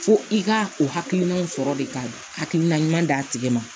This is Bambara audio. Fo i ka o hakilinaw sɔrɔ de ka hakilina ɲuman d'a tigi ma